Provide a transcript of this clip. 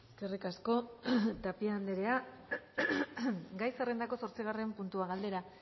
eskerrik asko tapia andrea gai zerrendako zortzigarren puntua galdera